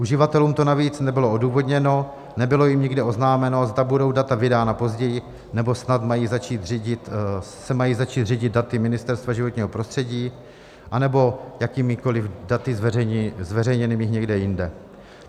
Uživatelům to navíc nebylo odůvodněno, nebylo jim nikde oznámeno, zda budou data vydána později, nebo snad se mají začít řídit daty Ministerstva životního prostředí, anebo jakýmikoliv daty zveřejněnými někde jinde.